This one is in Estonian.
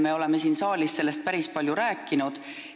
Me oleme siin saalis sellest päris palju rääkinud.